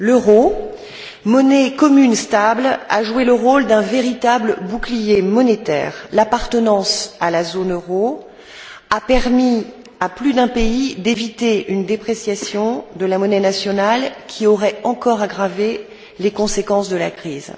L'euro, monnaie commune stable, a joué le rôle d'un véritable bouclier monétaire. L'appartenance à la zone euro a permis à plus d'un pays d'éviter une dépréciation de la monnaie nationale, qui aurait encore aggravé les conséquences de la crise.